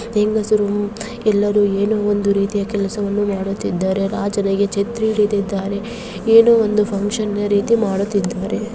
ಹೆಂಗಸರು ಎಲ್ಲರು ಏನೂಂದು ಕೆಲಸವನ್ನ ಮಾಡುತ್ತಿದ್ದಾರೆ ರಾಜನಿಗೆ ಛತ್ರಿಯನ್ನು ಹಿಡಿದಿದ್ದಾರೆ ಏನೋ ಒಂದು ರೀತಿ ಫುನ್ಕ್ಷನ್ ಅನ್ನ ರೀತಿ ಮಾಡುತ್ತಿದ್ದಾರೆ .